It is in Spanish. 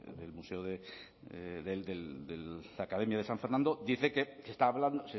de la academia de san fernando dice que está hablando